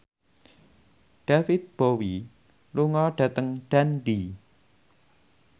David Bowie lunga dhateng Dundee